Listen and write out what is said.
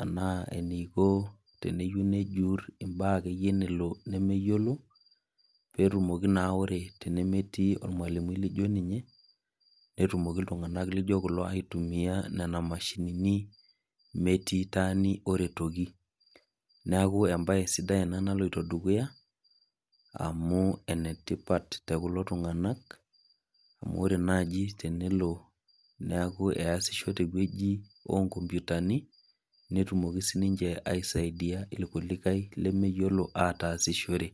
anaa eneiko teneyou nejuurr imbaa akeyie nelo nemeyiolo peetumoki naa ore tenemetii olmalimui ninye netumoki iltung'anak lijo kulo aitumia nena mashinini metii taani oretoki. Neaku embaye sidai ena naloito dukuya amu enetipat te kulo tung'anak amu ore tenelo neaku easisho tewueji oonkompyutani netumoki sininche aisaidia ilkulikae lemeyiolo ataasishore.